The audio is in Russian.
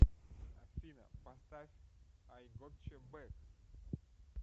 афина поставь ай готча бэк